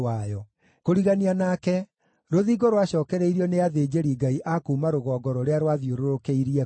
Kũrigania nake, rũthingo rwacookereirio nĩ athĩnjĩri-Ngai a kuuma rũgongo rũrĩa rwathiũrũrũkĩirie kũu.